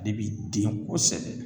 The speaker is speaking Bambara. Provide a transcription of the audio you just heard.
Ale bi den kosɛbɛ